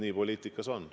Nii poliitikas on.